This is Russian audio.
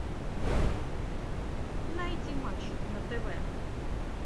найди матч на тв